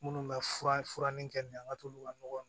Minnu bɛ fura min kɛ nin an ka t'olu ka nɔgɔ